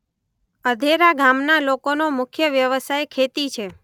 અધેરા ગામના લોકોનો મુખ્ય વ્યવસાય ખેતી છે.